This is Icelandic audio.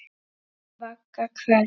Vagga hvers?